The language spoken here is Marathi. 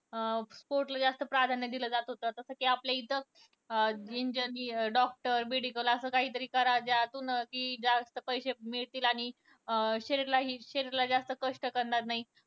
अं sport ला जास्त प्राधान्य दिलं जात होतं. जसं कि आपल्या इथं engineer, doctor, medical असं काही तरी करा ज्यातून की जास्त पैसे मिळतील आणि शरीरालाही शरीराला जास्त कष्ट पडणार नाही.